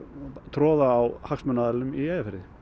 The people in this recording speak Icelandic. troða á hagsmunaaðilum í Eyjafirði